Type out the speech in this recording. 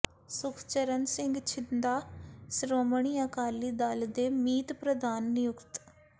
ਸੁਖਚਰਨ ਸਿੰਘ ਛਿੰਦਾ ਸ਼੍ਰੋਮਣੀ ਅਕਾਲੀ ਦਲ ਦੇ ਮੀਤ ਪ੍ਰਧਾਨ ਨਿਯੁਕਤ